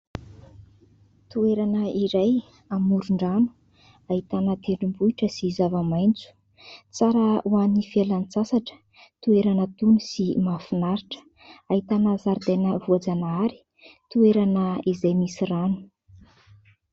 Toerana iray amoron-drano. Ahitana tendrombohitra sy zava-maitso. Tsara ho an'ny fialan-tsasatra. Toerana tony sy mahafinaritra. Ahitana zaridaina voajanahary, toerana izay misy rano.